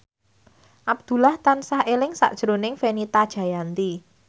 Abdullah tansah eling sakjroning Fenita Jayanti